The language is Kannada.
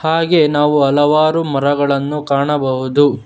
ಹಾಗೆ ನಾವು ಹಲವಾರು ಮರಗಳನ್ನು ಕಾಣಬಹುದು.